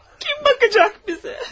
Kim bakacak bize?